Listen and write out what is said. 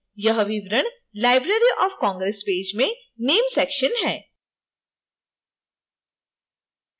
यह विवरण library of congress page में name section है